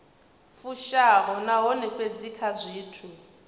fushaho nahone fhedzi kha zwithu